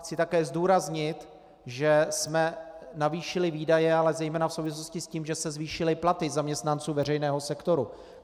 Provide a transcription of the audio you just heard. Chci také zdůraznit, že jsme navýšili výdaje, ale zejména v souvislosti s tím, že se zvýšily platy zaměstnanců veřejného sektoru.